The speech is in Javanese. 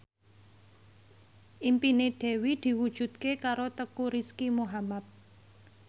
impine Dewi diwujudke karo Teuku Rizky Muhammad